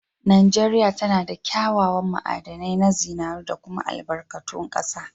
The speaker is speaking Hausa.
Najeria tanada kya kyawan ma'adanai na zinari da kuma albarkatu kasa.